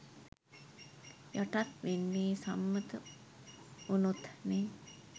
යටත් වෙන්නේ සම්මත වුනොත්නේ